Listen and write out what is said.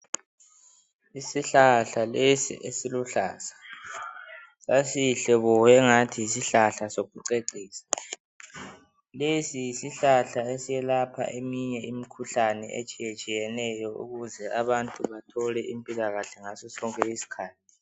Isihlahla lesi esiluhlaza sasihle bo sengathi yisihlahla sokucecisa , lesi yisihlahla esiyelapha eminye imikhuhlane etshiyetshiyeneyo ukuze abantu bathole impilakahle ngaso sonke isikhathi